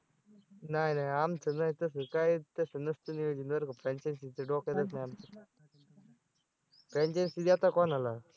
नाही नाही आमचं नाही तसं काहीच तसं नसतं नियोजन बरं का franchise च डोक्यातच नाही आमच्या franchise देता कोणाला?